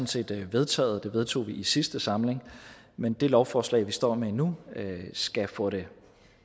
set vedtaget det vedtog vi i sidste samling men det lovforslag vi står med nu skal få det